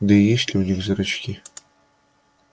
да и есть ли у них зрачки